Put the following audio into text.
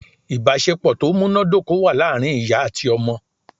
Ìbásepọ̀ tó múnádóko wà láàrin ìyá àti ọmọ rẹ̀